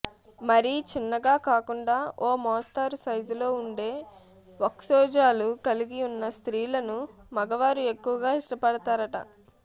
మరీ చిన్నగా కాకుండా ఓ మోస్తరు సైజులో ఉండే వక్షోజాలు కలిగి ఉన్న స్త్రీలను మగవారు ఎక్కువగా ఇష్టపడతారట